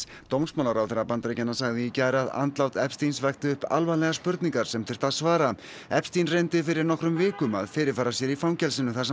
dómsmálaráðherra Bandaríkjanna sagði í gær að andlát vekti upp alvarlegar spurningar sem þyrfti að svara reyndi fyrir nokkrum vikum að fyrirfara sér í fangelsinu þar sem